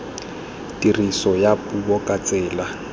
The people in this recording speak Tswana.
tiriso ya puo ka tsela